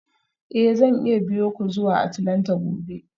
Eh zan iya biyo ku zuwa Atlanta gobe